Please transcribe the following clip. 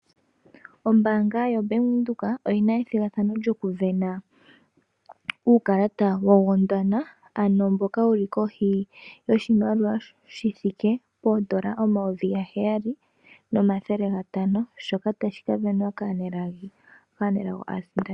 Ombaanga yoBank Windhoek oyi na ethigathano lyokusindana uukalata woGondwana ano mboka wuli kohi yoshimaliwa shi thike poondola omayovi gaheyali nomathele gatano, shoka tashi ka sindanwa kaanelago aasindani.